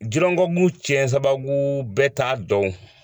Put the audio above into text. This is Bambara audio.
Jirɔgɔku cɛ sababu bɛɛ taa dɔn.